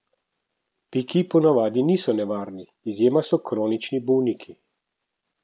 Piki ponavadi niso nevarni, izjema so kronični bolniki.